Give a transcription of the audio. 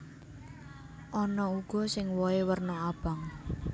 Ana uga sing wohé werna abang